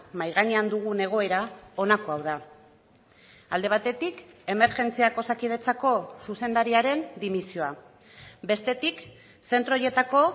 mahai gainean dugun egoera honako hau da alde batetik emergentziak osakidetzako zuzendariaren dimisioa bestetik zentro horietako